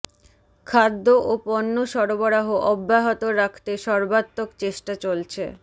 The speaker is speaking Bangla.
খাদ্য ও পণ্য সরবরাহ অব্যাহত রাখতে সর্বাত্মক চেষ্টা চলছে